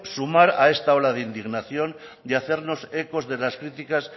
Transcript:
sumar a esta ola de indignación y hacernos ecos de las críticas